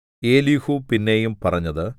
Elihu പിന്നെയും പറഞ്ഞത്